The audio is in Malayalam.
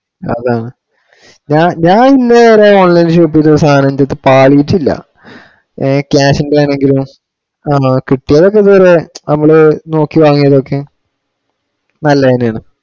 അതാണ് ഞാൻ ഇന്നേ വരെ online shop ചെയ്ത സാധനം പാളിട്ടില്ല. A class ഇന്റെ ആണെങ്കിലോ? ആണോ കിട്ടിയത് ഒക്കെ തന്നെ നമ്മള് നോക്കി വാങ്ങിയതൊക്കെ നല്ലതു തന്നെ യാണ്. .